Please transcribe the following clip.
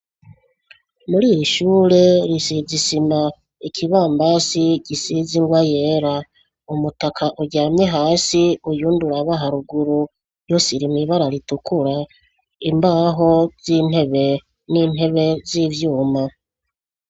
Muriri shure risize isima, ikibambasi gisize ingwa yera, umutaka uryamye hasi uwundi uraba haruguru yose iri mwibara ritukura imbaho z'intebe, n'intebe zivyuma.